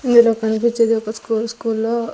ఈడ కనిపిచ్చేది ఒక స్కూలు స్కూల్లో --